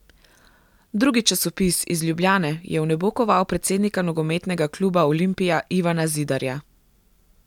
Drugi časopis, iz Ljubljane, je v nebo koval predsednika Nogometnega kluba Olimpija, Ivana Zidarja.